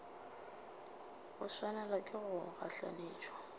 go swanelwa ke go gahlanetšwa